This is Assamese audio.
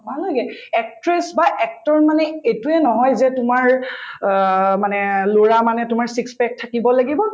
নালাগে actress বা actor মানে এইটোয়ে নহয় যে তোমাৰ অ মানে লৰা মানে তোমাৰ six pack থাকিব লাগিব